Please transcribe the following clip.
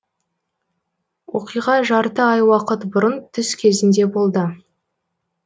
оқиға жарты ай уақыт бұрын түс кезінде болды